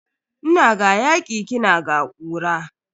Ina ga yaki kina ga kura.